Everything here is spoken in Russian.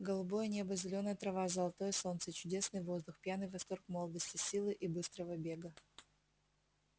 голубое небо зелёная трава золотое солнце чудесный воздух пьяный восторг молодости силы и быстрого бега